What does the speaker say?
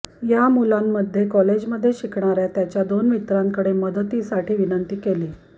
या मुलाने कॉलेजमध्ये शिकणाऱ्या त्याच्या दोन मित्रांकडे मदतीसाठी विनंती केली